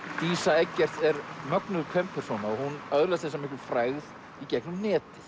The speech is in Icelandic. dísa Eggerts er mögnuð kvenpersóna og hún öðlast þessa miklu frægð í gegnum netið